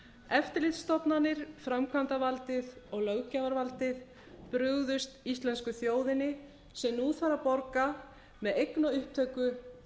eftirlitsstofnanir framkvæmdarvaldið og löggjafarvaldið brugðust íslensku þjóðinni sem nú þarf að borga með eignaupptöku